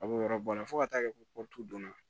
A b'o yɔrɔ bɔ a la fo ka taa kɛ ko donna